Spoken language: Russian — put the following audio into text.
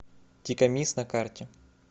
тикамис на карте